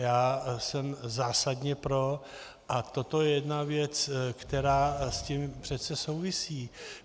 Já jsem zásadně pro, a toto je jedna věc, která s tím přece souvisí.